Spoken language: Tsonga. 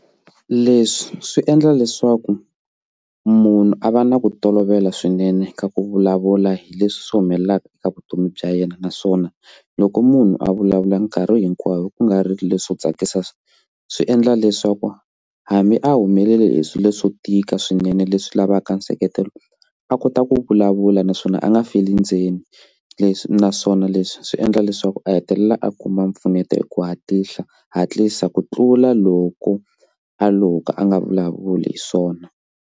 Leswi swi endla leswaku munhu a va na ku tolovela swinene ka ku vulavula hi leswi humelelaka eka vutomi bya yena naswona loko munhu a vulavula nkarhi hinkwayo ku nga ri leswo tsakisa swi endla leswaku hambi a humelele hi swilo swo tika swinene leswi lavaka nseketelo a kota ku vulavula naswona a nga feli ndzeni leswi naswona leswi swi endla leswaku a hetelela a kuma mpfuneto hi ku hatlisa hatlisa ku tlula loko a lo ka a nga vulavuli hi swona.